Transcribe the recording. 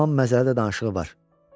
Yaman məzəli də danışığı var.